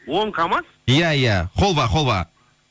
он камаз иә иә холва холва